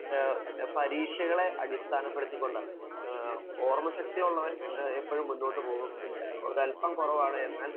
പരീക്ഷകളെ അടിസ്ഥാനപ്പെടുത്തിക്കൊണ്ടാണ്. ഓര്മശക്തിയുള്ളവൻ എപ്പോഴും മുന്നോട്ടു പോവും ഒരല്പം കുറവാണു എന്നാൽ